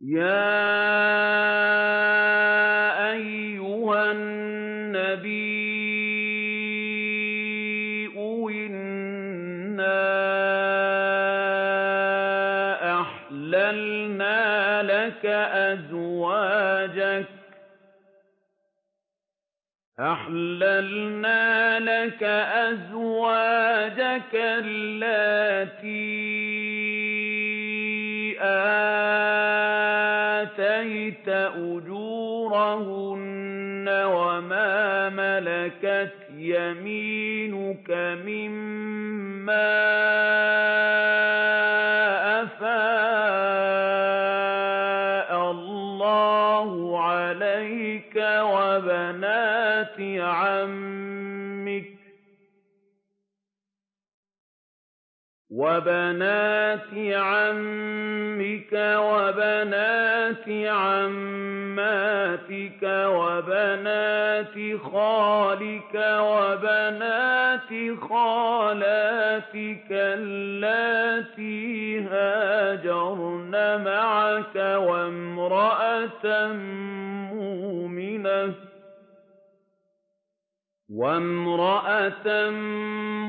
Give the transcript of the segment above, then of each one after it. يَا أَيُّهَا النَّبِيُّ إِنَّا أَحْلَلْنَا لَكَ أَزْوَاجَكَ اللَّاتِي آتَيْتَ أُجُورَهُنَّ وَمَا مَلَكَتْ يَمِينُكَ مِمَّا أَفَاءَ اللَّهُ عَلَيْكَ وَبَنَاتِ عَمِّكَ وَبَنَاتِ عَمَّاتِكَ وَبَنَاتِ خَالِكَ وَبَنَاتِ خَالَاتِكَ اللَّاتِي هَاجَرْنَ مَعَكَ وَامْرَأَةً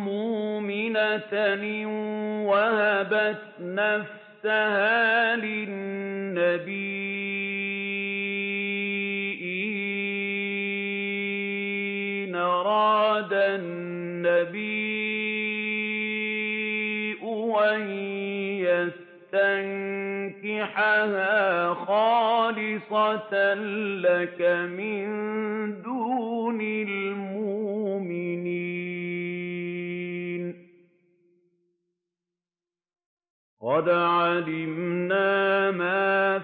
مُّؤْمِنَةً إِن وَهَبَتْ نَفْسَهَا لِلنَّبِيِّ إِنْ أَرَادَ النَّبِيُّ أَن يَسْتَنكِحَهَا خَالِصَةً لَّكَ مِن دُونِ الْمُؤْمِنِينَ ۗ قَدْ عَلِمْنَا مَا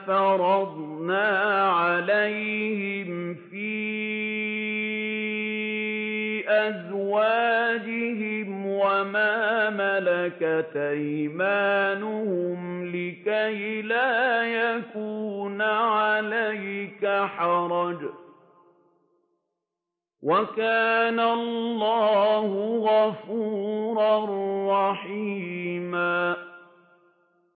فَرَضْنَا عَلَيْهِمْ فِي أَزْوَاجِهِمْ وَمَا مَلَكَتْ أَيْمَانُهُمْ لِكَيْلَا يَكُونَ عَلَيْكَ حَرَجٌ ۗ وَكَانَ اللَّهُ غَفُورًا رَّحِيمًا